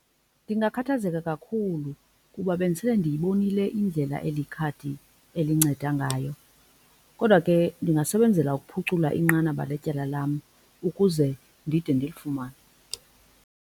Ndingakhathazeka kakhulu kuba bendisele ndiyibonile indlela eli khadi elinceda ngayo kodwa ke ndingasebenzela ukuphucula inqanaba letyala lam ukuze ndide ndilifumane.